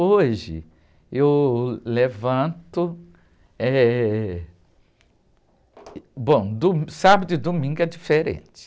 Hoje, eu levanto, eh... Bom, do, sábado e domingo é diferente.